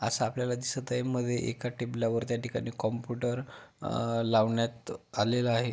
असा आपल्याला दिसत आहे मध्ये एका टेबलावर त्या ठिकाणीं कम्प्युटर अ लावण्यात आलेला आहे.